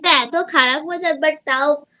মনটা এতো খারাপ হয়ে যায় But তাও